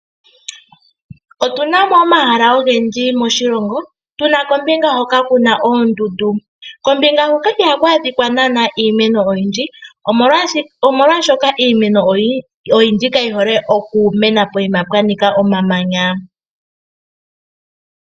Otunamo omahala ogendji moshilongo, tuna kombinga hoka kuna oondundu. Kombinga hoka ihaku adhika naanaa iimeno oyindji omolwashoka iimeno oyindji kayihole okumena pokuma pwanika omamanya.